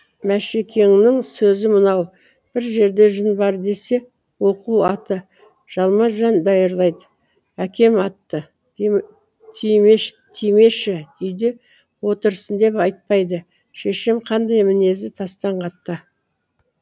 мәшекеңнің сөзі мынау бір жерде жын бар десе оқу аты жалма жан даярлайды әкем атты тимеші үйде отырсын деп айтпайды шешем қандай мінезі тастан қатты